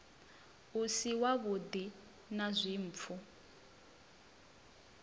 u si wavhuḓi na dzimpfu